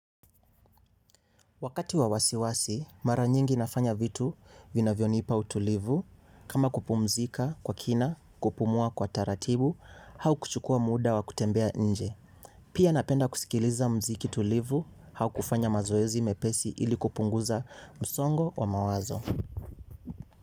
Wakati wa wasiwasi, mara nyingi nafanya vitu vinavyonipa utulivu, kama kupumzika kwa kina, kupumua kwa taratibu, au kuchukua muda wa kutembea nje. Pia napenda kusikiliza muziki tulivu, au kufanya mazoezi mepesi ili kupunguza msongo wa mawazo.